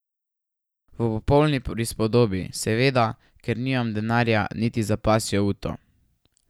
V popolni prispodobi seveda, ker nimam denarja niti za pasjo uto.